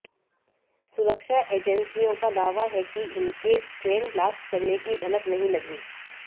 सुरक्षा एजेंसियों का दावा है कि इनके ट्रेन ब्लास्ट करने की भनक नहीं लगी